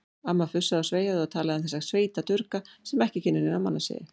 Amma fussaði og sveiaði og talaði um þessa sveitadurga sem ekki kynnu neina mannasiði.